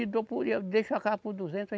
Eu dou por, e eu deixo a casa por duzentos